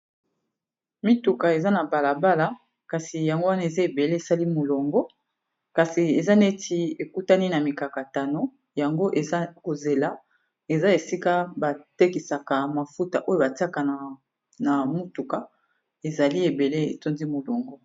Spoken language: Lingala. Mituka eza na balabala kasi yango wana eza ebele esali molongo kasi eza neti ekutani na mikakatano yango eza kozela eza esika batekisaka mafuta oyo batiaka na mutuka ezali ebele etondi molongo.